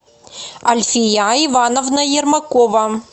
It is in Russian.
альфия ивановна ермакова